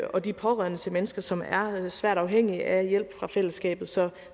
og de pårørende til mennesker som er svært afhængige af hjælp fra fællesskabet så